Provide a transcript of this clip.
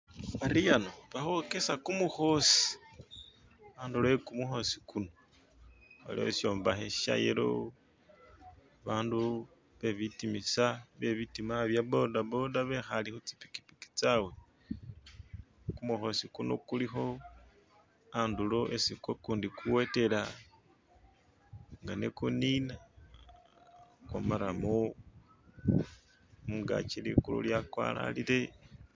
ari ahano bahokesa kumuhosi andulo yekumuhosi kuno aliho ishombahe shayelo bandu bebitimisa byebitima byabodaboda behale hutsi pikipiki tsawe kumuhosi kuno kuliho andulo isi kukundi kuwetela nga ne kunina kwamaramu mungaki likulu lyakwaralile